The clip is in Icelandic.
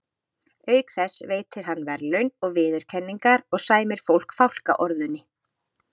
Auk þess veitir hann verðlaun og viðurkenningar og sæmir fólk fálkaorðunni.